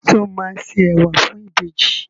Sọ ma se ẹwà fún ìbejì?